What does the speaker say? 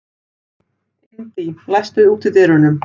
Indí, læstu útidyrunum.